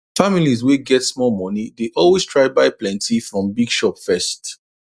families wey get small money dey always try buy plenty from big shop first